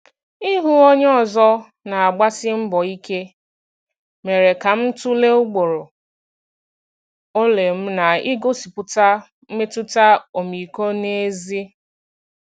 Ịhụ onye ọzọ na-agbasi mbọ ike mere ka m tụlee ugboro ole m na-egosipụta mmetụta ọmịiko n’ezie.